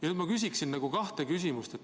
Nüüd ma küsin kaks küsimust.